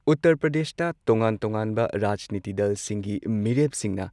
ꯎꯇꯔ ꯄ꯭ꯔꯗꯦꯁꯇ ꯇꯣꯉꯥꯟ ꯇꯣꯉꯥꯟꯕ ꯔꯥꯖꯅꯤꯇꯤ ꯗꯜꯁꯤꯡꯒꯤ ꯃꯤꯔꯦꯞꯁꯤꯡꯅ